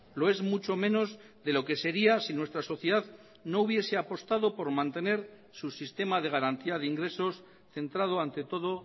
lo es mucho menos de lo que sería si nuestra sociedad no hubiese apostado por mantener su sistema de garantía de ingresos centrado ante todo